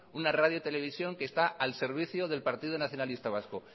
una radio televisión que está al servicio del partido nacionalista vasco